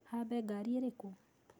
Hambe ngaari irikũ?